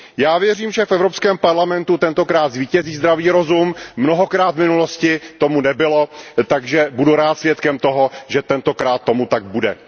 Já věřím, že v Evropské parlamentu tentokrát zvítězí zdravý rozum, mnohokrát v minulosti tomu tak nebylo, takže budu rád svědkem toho, že tentokrát tomu tak bude.